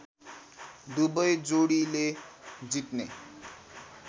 दुबै जोडीले जित्ने